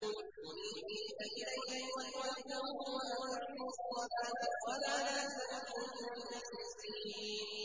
۞ مُنِيبِينَ إِلَيْهِ وَاتَّقُوهُ وَأَقِيمُوا الصَّلَاةَ وَلَا تَكُونُوا مِنَ الْمُشْرِكِينَ